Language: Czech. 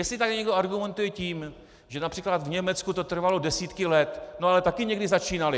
Jestli tady někdo argumentuje tím, že například v Německu to trvalo desítky let, no ale taky někdy začínali!